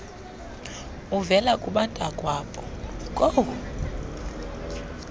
uvela kubantakwabo koo